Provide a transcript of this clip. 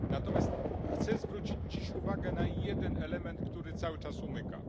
Natomiast chcę zwrócić uwagę na jeden element, który cały czas nam umyka.